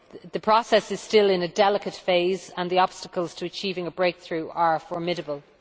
The process is still in a delicate phase and the obstacles to achieving a breakthrough are formidable.